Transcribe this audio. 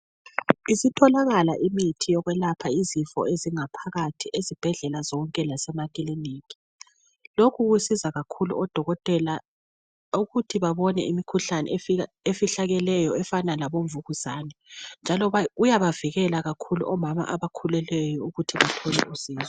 Isitholakala imithi yokwelapha izifo ezingaphakathi ezibhedlela zonke lasemakilinika. Lokhu kusiza kakhulu odokotela ukuthi babone imikhuhlane efihlakeleyo efana labomvukuzane. Futhi iyabavikela kakhulu omama abakhulelweyo ukuthi bathole usizo.